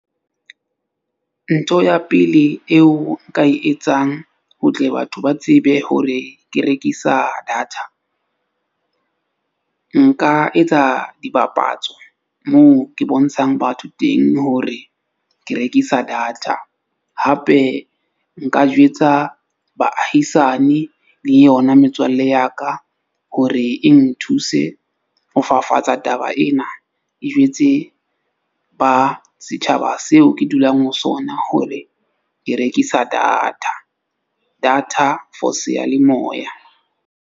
Ntho ya pele eo nka e etsang, ho tle batho ba tsebe hore ke rekisa data. Nka etsa dipapatso moo ke bontshang batho teng hore ke rekisa data, hape nka jwetsa baahisane le yona metswalle ya ka. Hore e nthuse ho fafatsa taba ena e jwetse ba setjhaba seo ke dulang ho sona hore, ke rekisa data, data for seyalemoya.